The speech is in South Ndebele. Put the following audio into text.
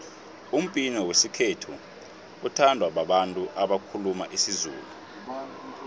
umbhino wesikhethu uthandwa babantu abakhuluma isizulu